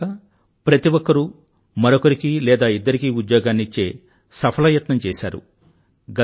ఇంతే కాక ప్రతి ఒక్కరూ మరొకరికి లేదా ఇద్దరికి ఉద్యోగాన్ని ఇచ్చే సఫలయత్నం చేశారు